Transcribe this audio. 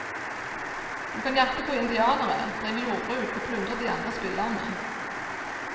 Du kan jakte på indianere, drive jordbruk og plyndre de andre spillerne.